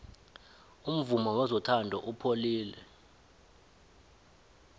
umvumo wezothando upholile